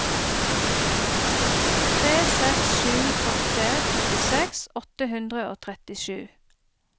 tre seks sju åtte trettiseks åtte hundre og trettisju